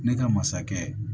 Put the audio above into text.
Ne ka masakɛ